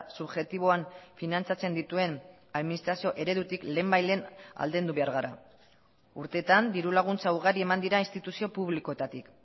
subjektiboan finantzatzen dituen administrazio eredutik lehenbailehen aldendu behar gara urteetan dirulaguntza ugari eman dira instituzio publikoetatik